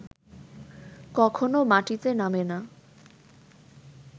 কখনও মাটিতে নামে না